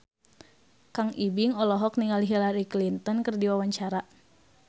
Kang Ibing olohok ningali Hillary Clinton keur diwawancara